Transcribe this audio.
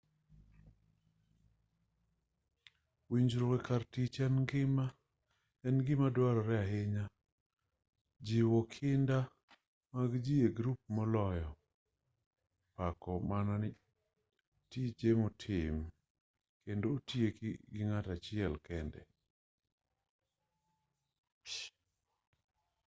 winjruok e kar tich en gima duarore ahinya jiwo kinda mag ji e grup moloyo pako mana tije motim kendo otieki gi ng'ato achiel kende